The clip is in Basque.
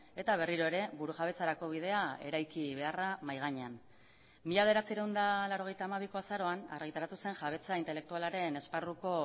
eta berriro ere burujabetzarako bidea eraiki beharra mahai gainean mila bederatziehun eta laurogeita hamabiko azaroan argitaratu zen jabetza intelektualaren esparruko